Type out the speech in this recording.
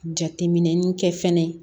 Jateminɛli kɛ fɛnɛ